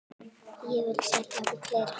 Og ég vil selja fleira.